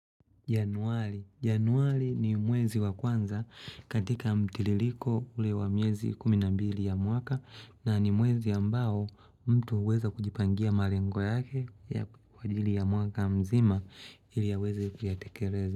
Januari. Januari ni mwezi wa kwanza katika mtiririko ule wa miezi kumi na mbili ya mwaka na ni mwezi ambao mtu huweza kujipangia malengo yake ya kwa ajili ya mwaka mzima ili aweze kuyatekeleza.